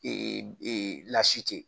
Ee e lasite